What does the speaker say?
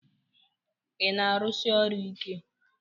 Ị na-arụsi ọrụ ike?